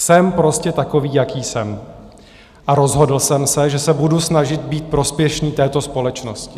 Jsem prostě takový, jaký jsem, A rozhodl jsem se, že se budu snažit být prospěšný této společnosti.